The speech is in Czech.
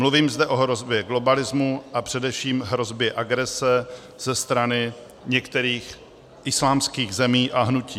Mluvím zde o hrozbě globalismu a především hrozbě agrese ze strany některých islámských zemí a hnutí.